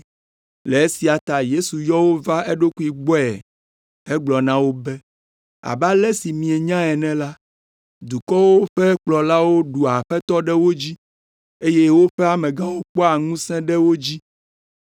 Le esia ta Yesu yɔ wo va eɖokui gbɔe hegblɔ na wo be, “Abe ale si mienya ene la, dukɔwo ƒe kplɔlawo ɖua aƒetɔ ɖe wo dzi, eye woƒe amegãwo kpɔa ŋusẽ ɖe wo dzi,